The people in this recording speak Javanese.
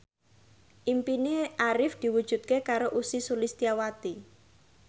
impine Arif diwujudke karo Ussy Sulistyawati